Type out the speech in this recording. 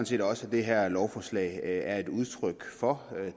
set også at det her lovforslag er udtryk for